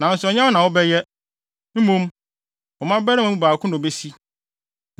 nanso ɛnyɛ wo na wobɛyɛ. Mmom, wo mmabarima no mu baako na obesi.’